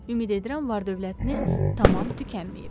Ümid edirəm var-dövlətiniz tamam tükənməyib.